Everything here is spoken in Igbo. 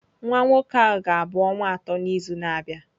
Nwa nwoke ahụ ga-abụ ọnwa atọ n'izu na-abịa.